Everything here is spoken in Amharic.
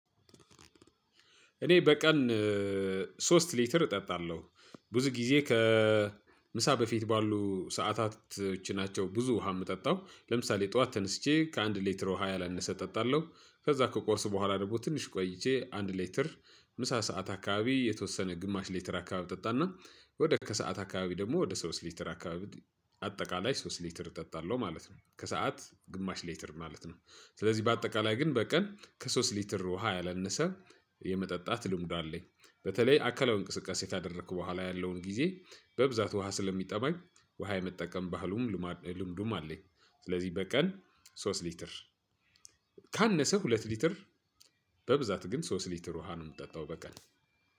እኔ በቀን ሶስት ሊትር እጠጣለሁ ብዙ ጊዜ ከምሳ በፊት ባሉ ሰዓታቶች ናቸው። ብዙ ውሃ የምጠጣው ለምሳሌ ጠዋት ተነስቼ ከአንድ ሊትር ውሃ ያላነሰ እጠጣለሁ። ከዛ ከቁርስ በኋላ ደግሞ ትንሽ ቆይቼ አንድ ሊትር ምሳ ሰዓት አካባቢ የተወሰነ ግማሽ ሊትር አካባቢ እጠጣና ወደ ከሰአት አካባቢ ደግሞ ወደ ሶስት ሊትር አካባቢ አጠቃላይ ሶስት ሊትር እጠጣለሁ። ማለት ነው ከሰአት ግማሽ ሊትር ማለት ነው። ስለዚህ በአጠቃላይ ግን በቀን ከሶስት ሊትር ውሃ ያላነሰ የመጠጣት ልምዱ አለኝ። በተለይ አካላዊ እንቅስቃሴ ካደረኩ በኋላ ያለውን ጊዜ በብዛት ውሃ ስለሚጠማኝ ውሃ የመጠቀም ባህሉም ልምዱም አለኝ። ስለዚህ በቀን ሶስት ሊትር። ካነሰ ሁለት ሊትር። በብዛት ግን ሶስት ሊትር ውሃ ነው የምጠጣው በቀን።